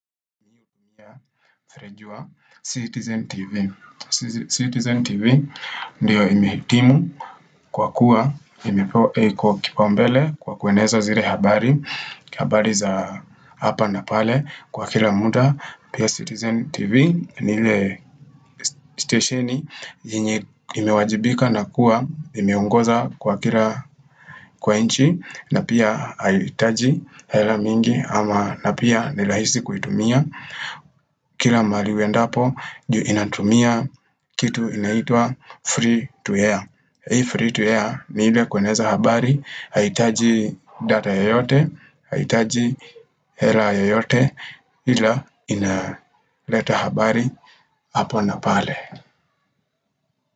Ferejua, Citizen TV Citizen TV ndiyo imehitimu kwa kuwa imepewa eko kipaumbele kwa kueneza zile habari habari za hapa na pale kwa kila muda Pia Citizen TV nile stesheni yenye imewajibika na kuwa imeungoza kwa kila kwa inchi na pia hayitaji hela mingi ama na pia nilahisi kuitumia Kila mali uendapo juu inatumia kitu inaitwa free to air Hii free to air ni ile kueneza habari Haitaji data ya yote, Haihitaji hera yoyote ila ina leta habari hapa na pale.